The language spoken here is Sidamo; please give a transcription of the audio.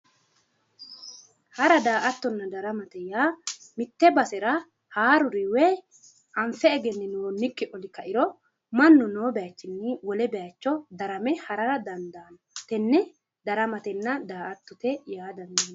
Hara da"attonna daramate yaa mitte basera haaruri woy anfe egenninoonnikki oli kairo mannu noo bayichinni wole bayicho darame harara dandaanno. Tenne daramatenna daa"attote yinanni.